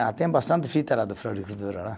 Ah, tem bastante fita lá da floricultura lá